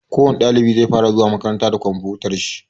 Kowani ɗalibi zai fara zuwa makaranta da komfutar shi.